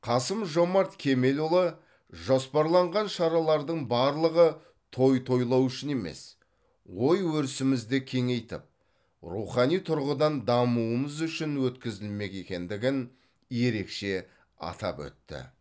қасым жомарт кемелұлы жоспарланған шаралардың барлығы той тойлау үшін емес ой өрісімізді кеңейтіп рухани тұрғыдан дамуымыз үшін өткізілмек екендігін ерекше атап өтті